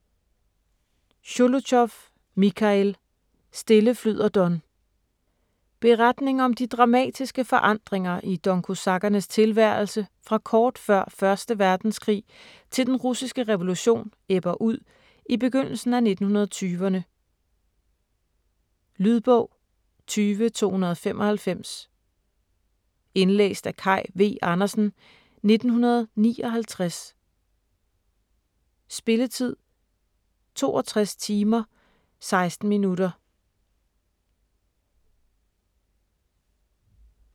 Sjolochov, Michail: Stille flyder Don Beretning om de dramatiske forandringer i Donkosakkernes tilværelse fra kort før 1. verdenskrig til den russiske revolution ebber ud i begyndelsen af 1920'rne. Lydbog 20295 Indlæst af Kaj V. Andersen, 1959. Spilletid: 62 timer, 16 minutter.